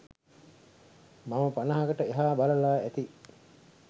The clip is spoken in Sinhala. මම පනහකට එහා බලලා ඇති